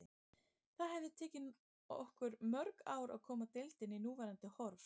Það hefði tekið okkur mörg ár að koma deildinni í núverandi horf.